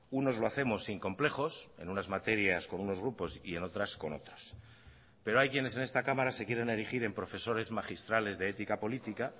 unos lo hacemos sin complejos en unas materias con unos grupos y en otras con otras pero hay quienes en esta cámara se quieren erigir en profesores magistrales de ética política